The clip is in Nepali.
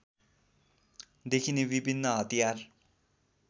देखिने विभिन्न हतियार